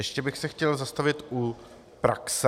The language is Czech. Ještě bych se chtěl zastavit u praxe.